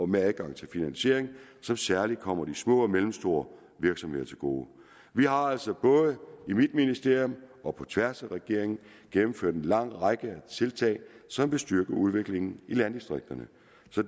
med adgang til finansiering som særlig kommer de små og mellemstore virksomheder til gode vi har altså både i mit ministerium og på tværs af regeringen gennemført en lang række tiltag som vil styrke udviklingen i landdistrikterne